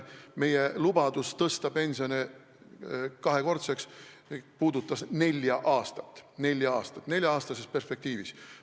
Meie lubadus tõsta pensionid kahekordseks puudutas nelja aastat, see oli öeldud nelja-aastases perspektiivis.